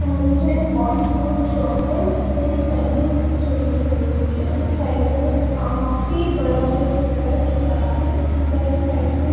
corn fruit shop है since nineteen sixty one की बनी हुई है उसके साईड में जो काफी बड़ा जो एक प्लांट दिख रहा है अंदर के साइड में --